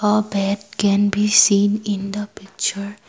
uh bed can be seen in the picture.